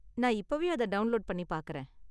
நான் இப்போவே அதை டவுண்லோடு பண்ணி பாக்கறேன்.